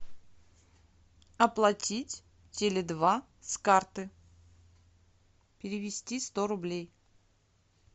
оплатить теле два с карты перевести сто рублей